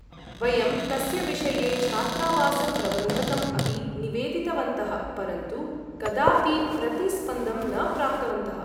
वयं तस्य विषये छात्रावासप्रबन्धकम् अपि निवेदितवन्तः परन्तु कदापि प्रतिस्पन्दं न प्राप्तवन्तः।